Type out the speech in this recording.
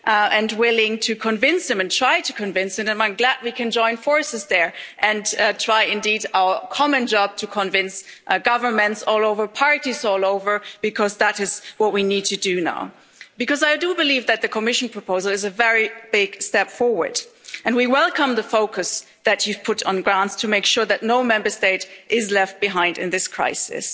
and willing to convince them, and try to convince them, and I am glad we can join forces there and try indeed our common job to convince governments all over parties, all over. Because that is what we need to do now, because I do believe that the Commission proposal is a very big step forward and we welcome the focus that you've put on grants to make sure that no Member State is left behind in this crisis.